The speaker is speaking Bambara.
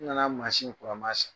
N'i nana maaskura ye, n m'a sigi.